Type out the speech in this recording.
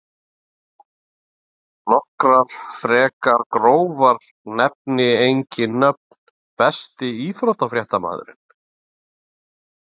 Nokkrar frekar grófar nefni engin nöfn Besti íþróttafréttamaðurinn?